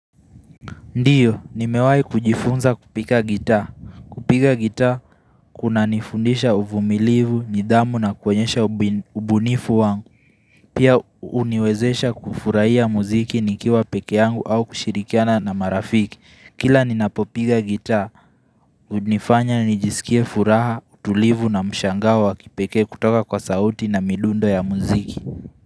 Ndiyo, nimewahi kujifunza kupiga gita. Kupiga gita kunanifundisha uvumilivu, nidhamu na kuonyesha ubunifu wangu. Pia, huniwezesha kufurahia muziki nikiwa pekepe yangu au kushirikiana na marafiki. Kila ninapopifa gita, hunifanya nijisikie furaha, utulivu na mshangao wa kipekee kutoka kwa sauti na midundo ya muziki.